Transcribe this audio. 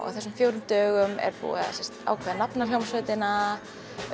á þessum fjórum dögum er búið að ákveða nafn á hljómsveitina